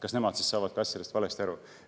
Kas ka nemad saavad asjadest valesti aru?